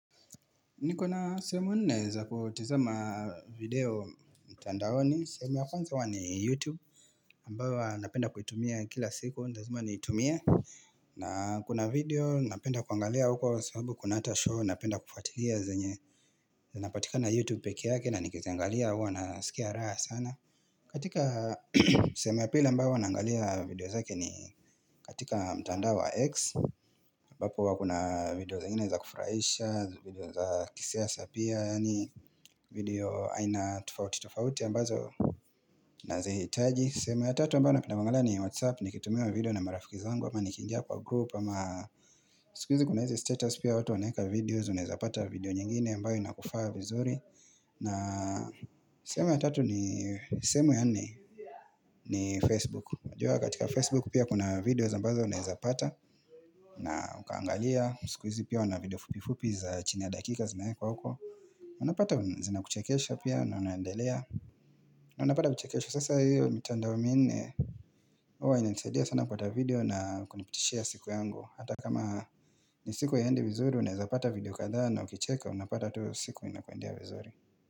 Niko na sehemu naeza kutizima video mtandaoni sehemu ya kwanza uwa ni YouTube ambayo huwa napenda kuitumia kila siku ni lazoma niitumie na kuna video napenda kuangalia au kuwa sababu kuna ata show Napenda kufatilia zenye zinapatikana YouTube peke yake na nikiziangalia huwa nasikia raha sana katika sehemu ya pili ambayo huwa naangalia video zake ni katika mtandao wa X ambapo huwa kuna video zengine za kufuraisha video za kisiasa pia Yani video aina tofauti tofauti ambazo nazihitaji sehemu ya tatu ambayo napenda kuangalia ni Whatsapp Nikitumiwa video na marafiki zangu ama nikiingia kwa group ama sikuizi kuna izi status pia watu wanaeka videos Unaeza pata video nyingine ambayo inakufaa vizuri na sehemu ya nne ni Facebook unajua katika Facebook pia kuna videos ambazo unaeza pata na ukaangalia Sikuizi pia wana video fupi fupi za chini ya dakika zimeekwa huko Unapata zinakuchekesha pia na unaendelea Unapata kuchekeshwa sasa hiyo mitandao minne huwa inanisaidia sana kupata video na kunipitishia siku yangu Hata kama ni siku haiendi vizuri Unaezapata video kadhaa na ukicheka unapata tu siku inakuendea vizuri.